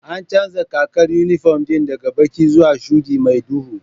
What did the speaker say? An canja kakar inifom ɗin daga baƙi zuwa shuɗi mai duhu